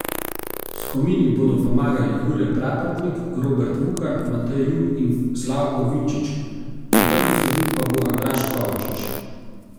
Skomini bodo pomagali Jure Praprotnik, Robert Vukan, Matej Jug in Slavko Vinčič, četrti sodnik pa bo Andraž Kovačič.